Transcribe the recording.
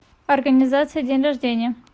организация день рождения